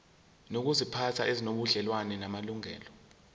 nezokuziphatha ezinobudlelwano namalungelo